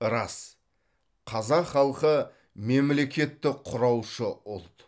рас қазақ халқы мемлекетті құраушы ұлт